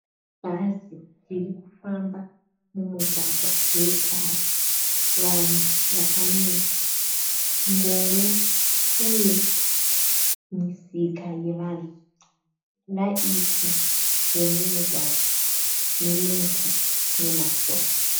Bhazi riri kufamba mumugwagwa wetara. Vanhu vakamira. Ngoro uye misika yevanhu. Raiti remugwagwa nemuti nemasora.